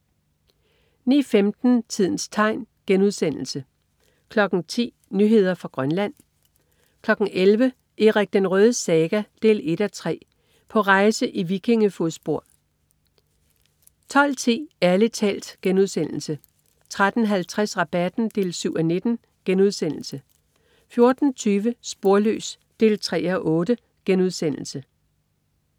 09.15 Tidens tegn* 10.00 Nyheder fra Grønland 11.00 Erik den Rødes saga 1:3 På rejse i vikinge-fodspor 12.10 Ærlig talt* 13.50 Rabatten 7:19* 14.20 Sporløs 3:8*